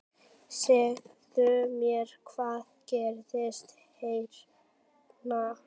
Segðu mér, hvað gerðist hérna?